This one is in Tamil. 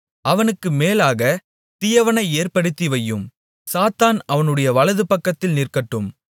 அவனுக்கு மேலாகத் தீயவனை ஏற்படுத்தி வையும் சாத்தான் அவனுடைய வலதுபக்கத்தில் நிற்கட்டும்